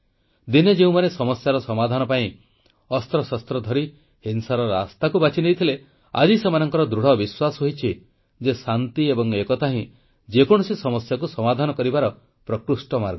ଦିନେ ଯେଉଁମାନେ ସମସ୍ୟାର ସମାଧାନ ପାଇଁ ଅସ୍ତ୍ରଶସ୍ତ୍ର ଧରି ହିଂସାର ରାସ୍ତାକୁ ବାଛିନେଇଥିଲେ ଆଜି ସେମାନଙ୍କର ଦୃଢ଼ବିଶ୍ୱାସ ହୋଇଛି ଯେ ଶାନ୍ତି ଏବଂ ଏକତା ହିଁ ଯେକୌଣସି ସମସ୍ୟାକୁ ସମାଧାନ କରିବାର ଏକମାତ୍ର ପ୍ରକୃଷ୍ଟ ମାର୍ଗ